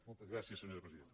moltes gràcies senyora presidenta